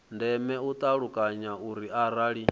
ndeme u ṱalukanya uri arali